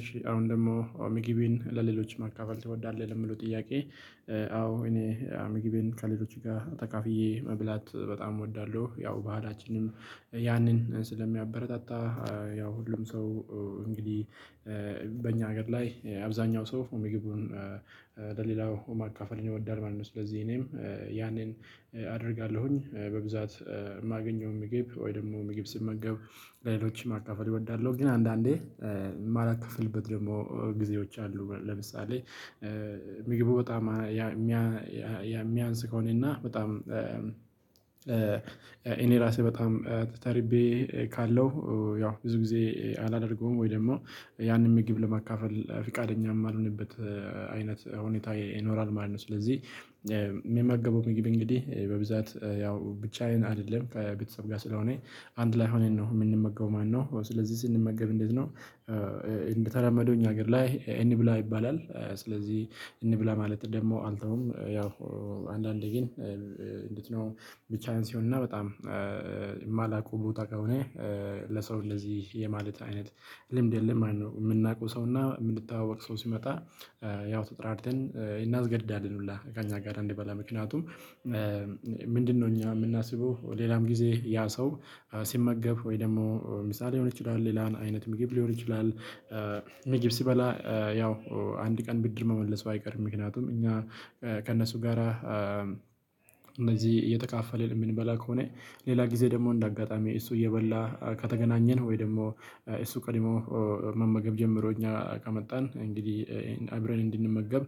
እሺ አሁን ደግሞ ሚጊቢን ለሌሎች መካፈል ትወዳለህ የምለው ጥያቄ? አዎ እኔ አምግቤን ከሌሎች ጋር ተካፍዬ መብላት በጣም እወዳለሁ። ያው ባህላችንም ያንን ስለሚያበረታታ። ያው ሁሉም ሰው እንግዲህ በእኛ ሀገር ላይ አብዛኛው ሰው ምግቡን ለሌላው ማካፈል ይወዳል ማለት ነው። ስለዚህ እኔም ያኔን አደርጋለሁኝ በብዛት የማገኘው ምግብ ወይ ደግሞ ምግብ ስመገብ ለሌሎችም ማካፈል እወዳለሁ። ግን አንዳንዴ ማላካፍልበት ደግሞ ጊዜዎች አሉ። ለምሳሌ ሚግቡ በጣም የሚያንስ ከሆነ እና በጣም እኔ ራሴ በጣም ተርቤ ካለው ያው ብዙ ጊዜ አላደርገውም። ወይ ደግሞ ያንን ምግብ ለማካፈል ፍቃደኛም የማልሆንበት አይነት ሁኔታ ይኖራል ማለት ነው። ስለዚህ የሚመገበው ምግብ እንግዲህ በብዛት ያው ብቻዬን አይደለም ከቤተሰብ ጋር ስለሆነ አንድ ላይ ሆነን ነው የምንመገበው ማለት ነው። ስለዚህ ስንመገብ እንዴት ነው እንደተለመደው እኛ ሀገር ላይ እንብላ ይባላል። ስለዚህ እንብላ ማለት ደግሞ አንተውም ያው አንዳንዴ ግን ነው ቢቻን ሲሆነና በጣም የማላውቀው ቦታ ከሆነ ለሰው እንደዚህ የማለት አይነት ልምድ የለም። የምናውቀው ሰውና የምንተዋወቅ ሰው ሲመጣ ያው ተጠራርተን እናስገድዳለን ሁላ ከእኛ ጋር እንድበላ ምክንያቱም። ምንድነው እኛ የምናስበው ሌላም ጊዜ ያ ሰው ሲመገብ ወይ ደግሞ ምሳሌ ሊሆን ይችላል። ሌላን አይነት ምግብ ሊሆን ይችላል ምግብ ሲበላ ያው አንድ ቀን ብድር መመለሱ አይቀርም። ምክንያቱም እኛ ከእነሱ ጋራ እነዚህ የተካፈለ እምንበላ ከሆነ ሌላ ጊዜ ደግሞ እንደ አጋጣሚ እሱ እየበላ ከተገናኘን ወይ ደግሞ እሱ ቀድሞ መመገብ ጀምሮ እኛ ካመጣን እንግዲህ አይብረን እንድንመገብ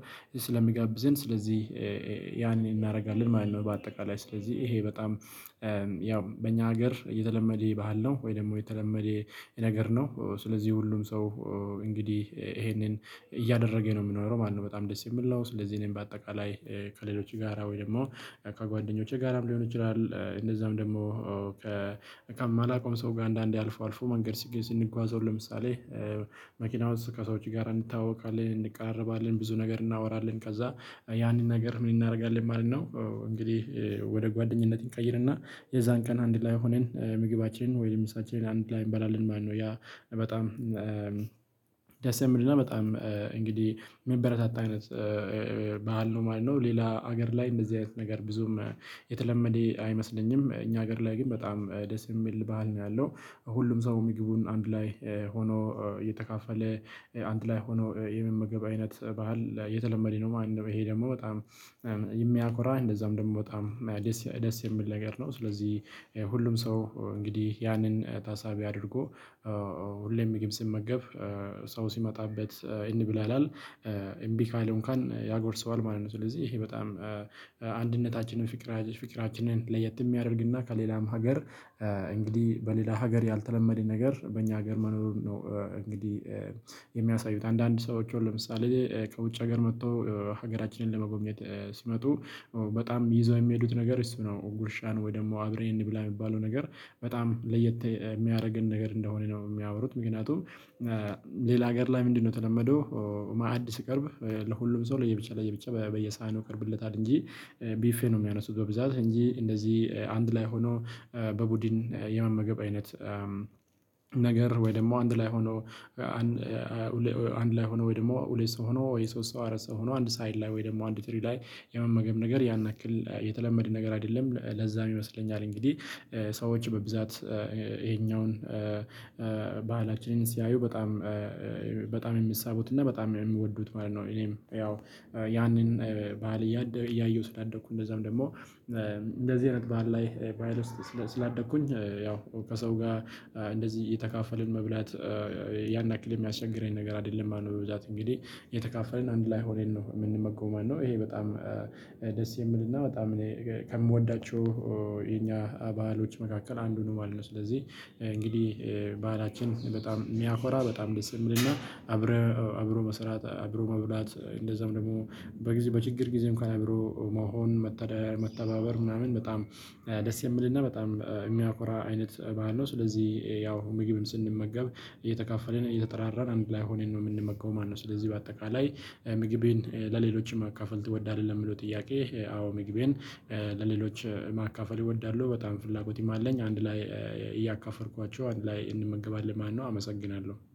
ስለሚጋብዘን ስለዚህ ያን እናደርጋለን ማለት ነው። በአጠቃላይ ስለዚህ ይሄ በጣም ያው በእኛ ሀገር እየተለመደ ባህል ነው። ወይ ደግሞ የተለመደ የነገር ነው። ስለዚህ ሁሉም ሰው እንግዲህ ይሄንን እያደረገ ነው የምኖረው ማነው በጣም ደስ የሚል ነው። ስለዚህ እኔም በአጠቃላይ ከሌሎች ጋራ ወይ ደግሞ ከጓደኞቼ ጋራም ሊሆን ይችላል እንደዛም ደግሞ ከማላውቀው ሰው ጋር አንዳንዴ አልፎ አልፎ መንገድ ሲገዝ ስንጓዝ ለምሳሌ መኪናውን ከሰዎች ጋር እንታወቃለን እንቃረባለን ብዙ ነገር እናወራለን ከዛ ያንን ነገር ምን እናደርጋለን ማለት ነው። እንግዲህ ወደ ጓደኝነት እንቀይርና የዛን ቀን አንድ ላይ ሆነን ምግባችን ወይ ምሳችንን አንድ ላይ እንበላለን። ማነው ያ በጣም ደስ የሚልና በጣም እንግዲህ መበረታት አይነት ባህል ነው ማለት ነው። ሌላ ሀገር ላይ እንደዚህ አይነት ነገር ብዙም የተለመደ አይመስለኝም። እኛ ሀገር ላይ ግን በጣም ደስ የሚል ባህል ነው ያለው ሁሉም ሰው ምግቡን አንድ ላይ ሆኖ እየተካፈለ አንድ ላይ ሆኖ የመመገብ አይነት ባህል የተለመደ ነው ማለት ነው። ይሄ ደግሞ በጣም የሚያኮራ እንደዛም ደግሞ በጣም ደስ የሚል ነገር ነው። ስለዚህ ሁሉም ሰው እንግዲህ ያንን ታሳቢ አድርጎ ሁሌም ምግብ ሲመገብ ሰው ሲመጣበት እንብላለን እምቢ ካለው እንካን ያጎርሰዋል ማለት ነው። ስለዚህ ይሄ በጣም አንድነታችንን ፍቅራችንን ለየት የሚያደርግና ከሌላም ሀገር እንግዲህ በሌላ ሀገር ያልተለመደ ነገር በእኛ ሀገር መኖር ነው። እንግዲህ የሚያሳዩት አንዳንድ ሰዎች ለምሳሌ ከውጭ ሀገር መጥተው ሀገራችንን ለመጎብኘት ሲመጡ በጣም ይዘው የሚሄዱት ነገር እሱ ነው። ጉርሻን ወይ ደግሞ አብረን እንብላ የሚባለው ነገር በጣም ለየት የሚያደርገን ነገር እንደሆነ ነው የሚያወሩት። ምክንያቱም ሌላ ሀገር ላይ ምንድነው የተለመደው? ማዕድ ሲቀርብ ለሁሉም ሰው ለየብቻ ለየብቻ በየሳህን ነው የምትከብለው እንጂ ቢፌ ነው የሚያነሱት በብዛት እንጂ እንደዚህ አንድ ላይ ሆኖ በቡድን የመመገብ አይነት። ነገር ወይ ደግሞ አንድ ላይ ሆኖ አንድ ላይ ሆኖ ወይ ደግሞ ሁሌ ሰው ሆኖ ወይ ሶስት ሰው አራት ሰው ሆኖ አንድ ሳይድ ላይ ወይ ደግሞ አንድ ትሪ ላይ የመመገብ ነገር ያን ያክል የተለመደ ነገር አይደለም። ለዛ ይመስለኛል እንግዲህ ሰዎች በብዛት ይሄኛውን ባህላችንን ሲያዩ በጣም የሚሳቡት እና በጣም የሚወዱት ማለት ነው። እኔም ያው ያንን ባል እያየሁ ስላደኩ እንደዛም ደግሞ እንደዚህ አይነት ባህል ላይ ባህል ውስጥ ስላደኩኝ ያው ከሰው ጋር እንደዚህ የተካፈልን መብላት ያናክል የሚያስቸግረኝ ነገር አይደለም። ማነው በብዛት እንግዲህ የተካፈልን አንድ ላይ ሆነን ነው የምንመገው ማለት ነው። ይሄ በጣም ደስ የምልና በጣም እኔ ከምወዳቸው የኛ ባህሎች መካከል አንዱን ማለት ነው። ስለዚህ እንግዲህ ባህላችን በጣም የሚያኮራ በጣም ደስ የሚልና አብረው አብሮ መስራት አብሮ መብላት እንደዛም ደግሞ በችግር ጊዜ እንኳን አብሮ መሆን መተዳደር መተባበር ምናምን በጣም ደስ የምልና በጣም የሚያኮራ አይነት ማለት ነው። ስለዚህ ያው ምግብም ስንመገብ እየተካፈልን እየተጠራራን አንድ ላይ ሆነን ነው የምንመገበው ማለት ነው። ስለዚህ በአጠቃላይ ምግቤን ለሌሎችም አካፈል ትወዳለህ የሚለው ጥያቄ። አዎ ምግቤን ለሌሎች ማካፈል እወዳለሁ በጣም ፍላጎትም አለኝ። አንድ ላይ እያከፈልኳቸው አንድ ላይ እንመገባለን ማነው። አመሰግናለሁ